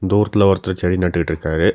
தூரத்துல ஒருத்தர் செடி நட்டுட்டு இருக்காரு.